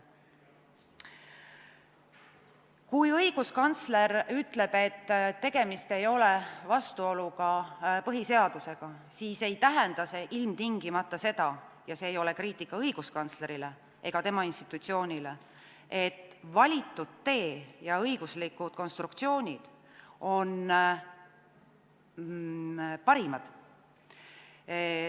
Kui õiguskantsler ütleb, et tegemist ei ole vastuoluga põhiseadusega, siis ei tähenda see ilmtingimata seda – ja see ei ole kriitika õiguskantsleri ega tema institutsiooni kohta –, et valitud tee ja õiguslikud konstruktsioonid on parimad.